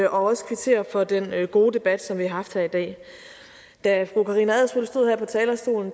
også kvittere for den gode debat som vi har haft her i dag da fru karina adsbøl stod her på talerstolen